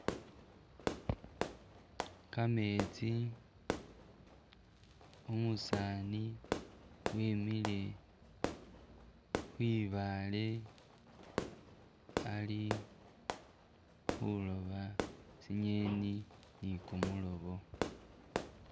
Kametsi umusaani wimile kwibaale ali khuloba tsinyeni nikumulobo